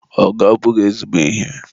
Ọgụ abụghị ezigbo ihe.